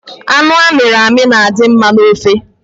Anụ amiri emi na-adi mma n’ofe